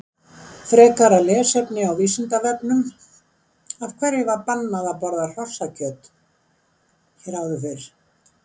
Frekara lesefni á Vísindavefnum: Af hverju var bannað að borða hrossakjöt hér áður fyrr?